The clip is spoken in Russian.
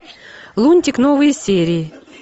лунтик новые серии